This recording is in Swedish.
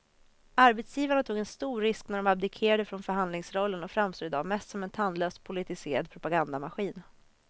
Arbetsgivarna tog en stor risk när de abdikerade från förhandlingsrollen och framstår i dag mest som en tandlös politiserad propagandamaskin.